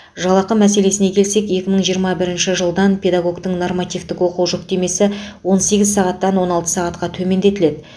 жалақы мәселесіне келсек екі мың жиырма бірінші жылдан педагогтің нормативтік оқу жүктемесі он сегіз сағаттан он алты сағатқа төмендетіледі